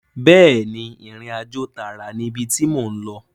Bẹ́ẹ̀ni ìrìnàjò tààrà ni ibi tí mò ń lọ